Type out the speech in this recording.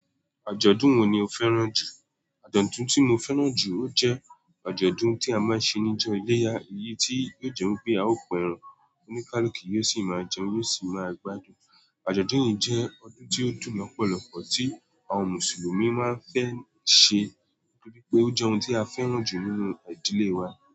Àjọ̀dún wo ni o fẹ́ràn jù? Àjọ̀dún tí mo fẹ́ràn jù ọ jẹ́ àjọ̀dún tí a máa ń ṣe níjọ́ eléyà. Èyí tí yóò jẹ́ pé a ó kan ẹran oníkálùku, yóò sì máa jẹun, yóò sì máa gbádùn. Àjọ̀dún yìí jẹ́ ọdún tí ó dun lọ́pọ̀lọpọ̀ tí àwọn Mùsùlùmí máa ń fẹ́ ṣe, pé ó jẹ́ ohun tí a fẹ́ràn jù nínú ìdílé wa.